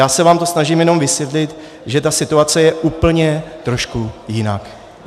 Já se vám to snažím jenom vysvětlit, že ta situace je úplně trošku jiná.